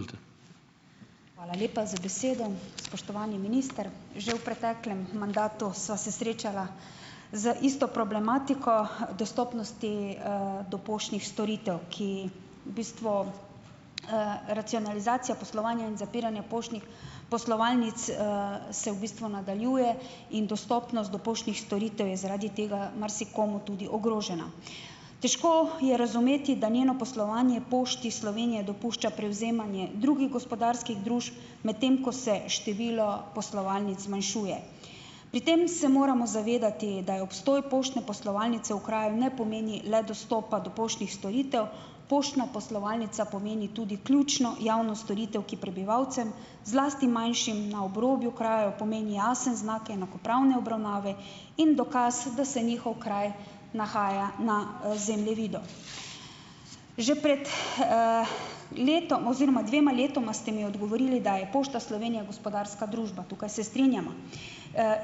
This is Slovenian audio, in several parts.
Hvala lepa za besedo. Spoštovani minister! Že v preteklem mandatu sva se srečala z isto problematiko dostopnosti, do poštnih storitev, ki v bistvu, racionalizacija poslovanja in zapiranja poštnih poslovalnic, se v bistvu nadaljuje in dostopnost do poštnih storitev je zaradi tega marsikomu tudi ogrožena. Težko je razumeti, da njeno poslovanje Pošti Slovenije dopušča prevzemanje drugih gospodarskih družb, medtem ko se število poslovalnic zmanjšuje. Pri tem se moramo zavedati, da je obstoj poštne poslovalnice v kraju ne pomeni le dostopa do poštnih storitev, poštna poslovalnica pomeni tudi ključno javno storitev, ki prebivalcem, zlasti manjšim na obrobju kraja pomeni jasen znak enakopravne obravnave in dokaz, da se njihov kraj nahaja na, zemljevidu. Že pred, letom oziroma dvema letoma ste mi odgovorili, da je Pošta Slovenije gospodarska družba. Tukaj se strinjava.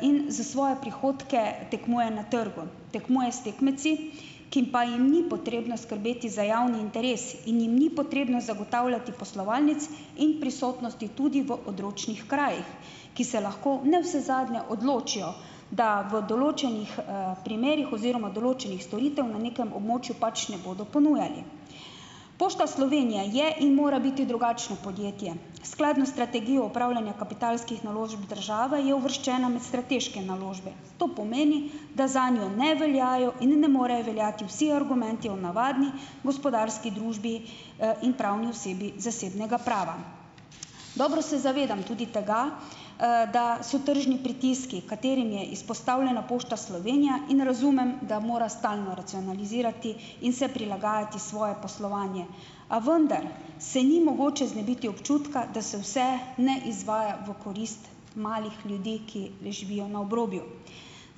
In za svoje prihodke tekmuje na trgu. Tekmuje s tekmeci, ki pa jim ni potrebno skrbeti za javni interes in jim ni potrebno zagotavljati poslovalnic in prisotnosti tudi v odročnih krajih, ki se lahko navsezadnje odločijo, da v določenih, primerih oziroma določenih storitev na nekem območju pač ne bodo ponujali. Pošta Slovenije je in mora biti drugačno podjetje. Skladno s strategijo upravljanja kapitalskih naložb države je uvrščena med strateške naložbe. To pomeni, da zanjo ne veljajo in ne morejo veljati vsi argumenti o navadni gospodarski družbi, in pravni osebi zasebnega prava. Dobro se zavedam tudi tega, da so tržni pritiski, katerim je izpostavljena Pošta Slovenija, in razumem, da mora stalno racionalizirati in se prilagajati svoje poslovanje. A vendar se ni mogoče znebiti občutka, da se vse ne izvaja v korist malih ljudi, ki le živijo na obrobju.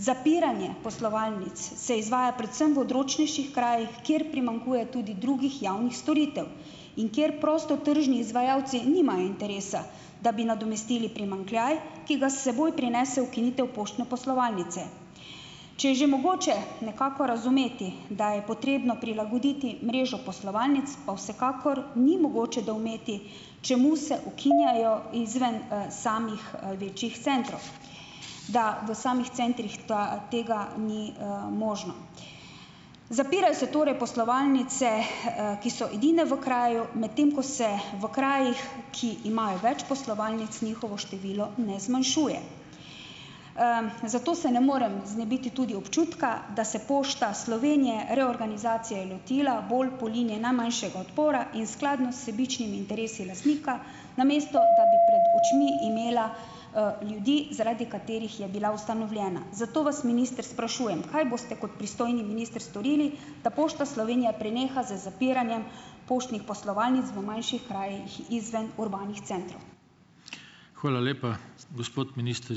Zapiranje poslovalnic se izvaja predvsem v odročnejših krajih, kjer primanjkuje tudi drugih javnih storitev in kjer prostotržni izvajalci nimajo interesa, da bi nadomestili primanjkljaj, ki ga s seboj prinese ukinitev poštne poslovalnice. Če je že mogoče nekako razumeti, da je potrebno prilagoditi mrežo poslovalnic, pa vsekakor ni mogoče doumeti, čemu se ukinjajo izven, samih, večjih centrov. Da v samih centrih ta tega ni, možno. Zapirajo se torej poslovalnice, ki so edine v kraju, medtem ko se v krajih, ki imajo več poslovalnic, njihovo število ne zmanjšuje. zato se ne morem znebiti tudi občutka, da se Pošta Slovenije reorganizacije lotila bolj po liniji najmanjšega odpora in skladno s sebičnimi interesi lastnika, namesto da bi pred očmi imela, ljudi, zaradi katerih je bila ustanovljena. Zato vas minister, sprašujem. Kaj boste kot pristojni minister storili, da Pošta Slovenije preneha z zapiranjem poštnih poslovalnic v manjših krajih izven urbanih centrov? Hvala lepa. Gospod minister ...